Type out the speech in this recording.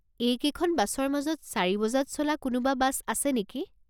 এইকেইখন বাছৰ মাজত চাৰি বজাত চলা কোনোবা বাছ আছে নেকি?